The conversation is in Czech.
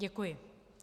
Děkuji.